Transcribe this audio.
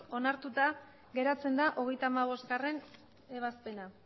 onartuta geratzen da hogeita hamabostgarrena ebazpena